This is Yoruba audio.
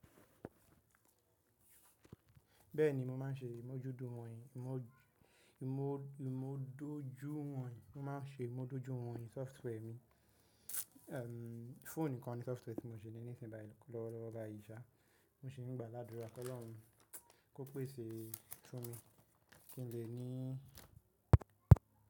Bẹ́ẹ̀ni mo máa ń ṣe ìmójútó wọ̀nyí, ìmójú, ìmójú, mo máa ń ṣe ìmójútó wọ̀nyí, software mi. Ehhen, fone nìkan ni software tí mo ṣe nínú ìsìn bá yẹn lọ́wọ́ ọ̀gá ìṣe. Mo ṣe nígbàlàdúrà pẹ́lú Ọlọ́run kó pèsè fún mi kí n lè ní.